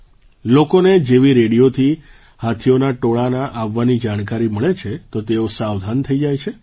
લોકોને જેવી રેડિયોથી હાથીઓના ટોળાના આવવાની જાણકારી મળે છે તો તેઓ સાવધાન થઈ જાય છે